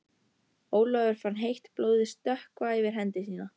Ólafur fann heitt blóðið stökkva yfir hendi sína.